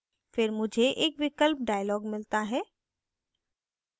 फिर मुझे एक विकल्प dialog मिलता है